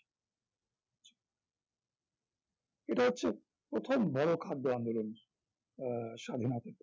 এটা হচ্ছে প্রথম বড় খাদ্য আন্দোলন আহ স্বাধীনতাতে